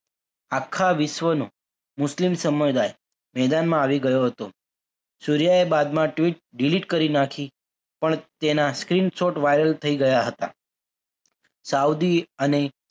આખા વિશ્વનો મુસ્લિમ સમુદાય મેદાનમાં આવી ગયો હતો. સૂર્યા એ બાદમાં tweet delete કરી નાખી પણ તેના screenshot viral થઈ ગયા હતા સાઉદી અને